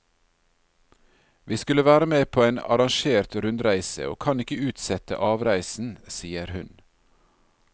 Vi skulle være med på en arrangert rundreise, og kan ikke utsette avreisen, sier hun.